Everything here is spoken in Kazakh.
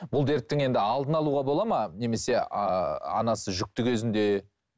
бұл дерттің енді алдын алуға болады ма немесе анасы жүкті кезінде